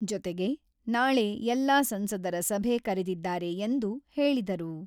ಜೊತೆಗೆ ನಾಳೆ ಎಲ್ಲ ಸಂಸದರ ಸಭೆ ಕರೆದಿದ್ದಾರೆ ಎಂದು ಹೇಳಿದರು.